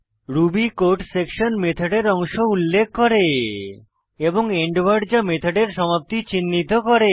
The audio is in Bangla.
রুবি কোড সেকশন মেথডের অংশ উল্লেখ করে এবং এন্ড ওয়ার্ড যা মেথডের সমাপ্তি চিন্হিত করে